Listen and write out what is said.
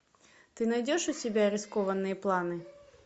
ты найдешь у себя рискованные планы